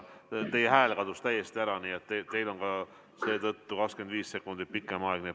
Teie hääl kadus täiesti ära, nii et teil on seetõttu ka 25 sekundit pikem aeg.